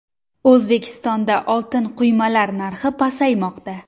O‘zbekistonda oltin quymalar narxi pasaymoqda.